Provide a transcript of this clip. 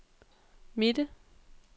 midte